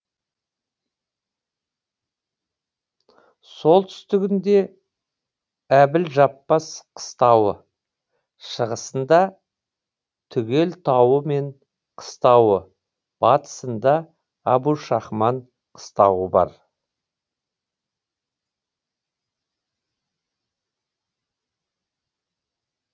солтүстігінде әбілжаппас қыстауы шығысында түгел тауы мен қыстауы батысында әбушахман қыстауы бар